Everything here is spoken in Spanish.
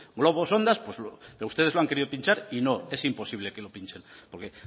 globos sonda ustedes lo han querido pinchar y no es imposible que lo pinchen porque